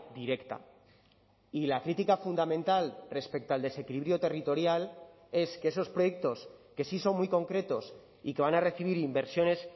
directa y la crítica fundamental respecto al desequilibrio territorial es que esos proyectos que sí son muy concretos y que van a recibir inversiones